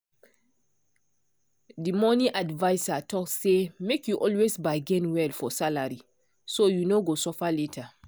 the money adviser talk say make you always bargain well for salary so you no go suffer later.